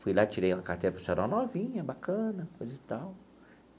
Fui lá, tirei uma carteira profissional novinha, bacana, coisa e tal.